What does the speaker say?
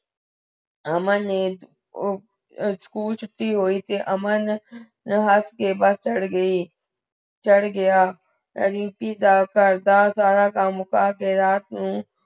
ਅਮਨ ਨੇ ਅਹ school ਛੁਟੀ ਹੁਈ ਸੀ ਅਮਨ ਨੇ ਹੱਸ ਕੇ bus ਚੜ੍ਹ ਗਈ ਚੜ੍ਹ ਗਯਾ ਰੀਮਪੀ ਦਾ ਘਰ ਦਾ ਸਾਰਾਹ ਕਾਮ ਮੁਕਾਕੇ ਰਾਤ ਨੂ